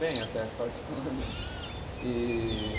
Bem, até particularmente. E